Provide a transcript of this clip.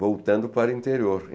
voltando para o interior.